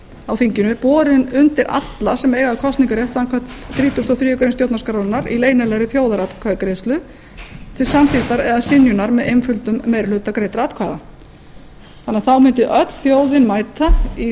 á þinginu borin undir alla sem eiga kosningarrétt samkvæmt þrítugustu og þriðju grein stjórnarskrárinnar í leynilegri þjóðaratkvæðagreiðslu til samþykktar eða synjunar með einföldum meiri hluta greiddra atkvæða þannig að þá mundi öll þjóðin mæta í